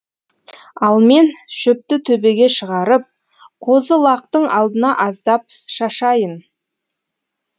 ал мен шөпті төбеге шығарып қозы лақтың алдына аздап шашайын